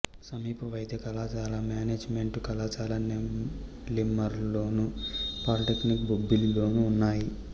సమీప వైద్య కళాశాల మేనేజిమెంటు కళాశాల నెల్లిమర్లలోను పాలీటెక్నిక్ బొబ్బిలిలోనూ ఉన్నాయి